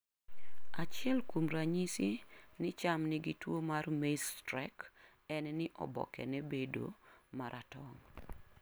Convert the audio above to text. Achiel kuom ranyis ni cham nigi tuwo mar maize streak, en ni obokene bedo ma ratong'.